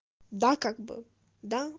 да как бы да